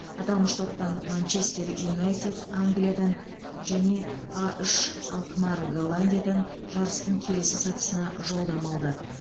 аталмыш топтан манчестер юнайтед англиядан мен а үш алкмар голландиядан жарыстың келесі сатысына жолдама алды